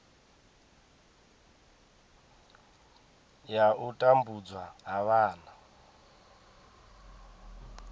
ya u tambudzwa ha vhana